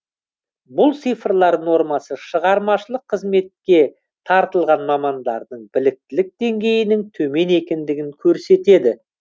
бұл цифрлар нормасы шығармашылық қызметке тартылған мамандардың біліктілік деңгейінің төмен екендігін көрсетеді